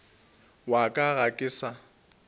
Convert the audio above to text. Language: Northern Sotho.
wa ka ga ke sa